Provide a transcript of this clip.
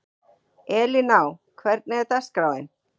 Elíná, hvernig er dagskráin?